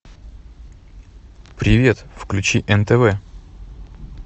привет включи нтв